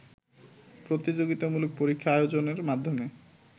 প্রতিযোগিতামূলক পরীক্ষা আয়োজনের মাধ্যমে